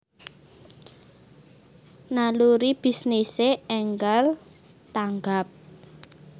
Naluri bisnise enggal tanggap